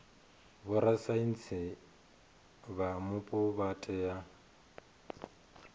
vhorasaintsi vha mupo vha tea